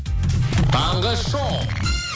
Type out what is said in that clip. таңғы шоу